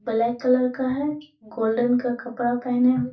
Black colour का है। Golden का कपड़ा पहने --